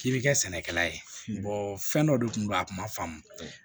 K'i bi kɛ sɛnɛkɛla ye fɛn dɔ de kun don a kun ma faamu